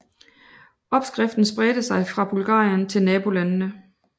Opskriften spredte sig fra Bulgarien til nabolandene